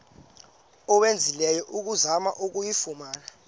owenzileyo ukuzama ukuyifumana